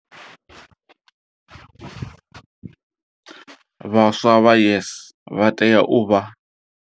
Vhaswa vha YES vha tea u vha.